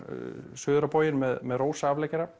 suður á bóginn með